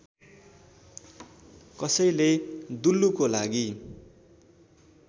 कसैले दुल्लुको लागि